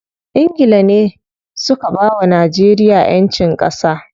Ingila ne suka bawa Najeriya ƴancin ƙasa.